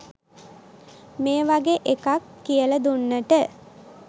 මේ වගේ එකක් කියලා දුන්නට.